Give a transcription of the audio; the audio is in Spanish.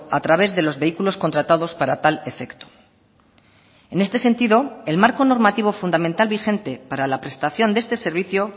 a través de los vehículos contratados para tal efecto en este sentido el marco normativo fundamental vigente para la prestación de este servicio